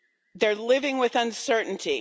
They're living with uncertainty.